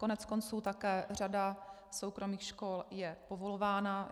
Koneckonců také řada soukromých škol je povolována.